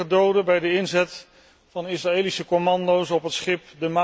vielen er negen doden bij de inzet van Israëlische commando's op het schip